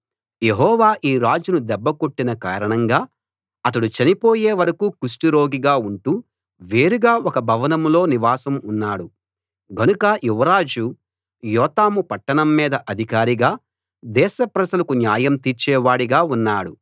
యెహోవా ఈ రాజును దెబ్బ కొట్టిన కారణంగా అతడు చనిపోయే వరకూ కుష్టురోగిగా ఉంటూ వేరుగా ఒక భవనంలో నివాసం ఉన్నాడు గనుక యువరాజు యోతాము పట్టణం మీద అధికారిగా దేశ ప్రజలకు న్యాయం తీర్చే వాడిగా ఉన్నాడు